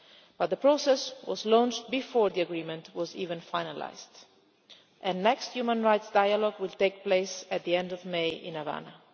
But the process was launched before the agreement was even finalised, and the next human rights dialogue will take place at the end of May in Havana.